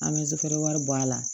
An bɛ sufɛ wari bɔ a la